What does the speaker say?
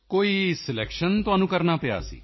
ਕੋਈ ਸਲੈਕਸ਼ਨ ਤੁਹਾਨੂੰ ਕਰਨਾ ਪਿਆ ਸੀ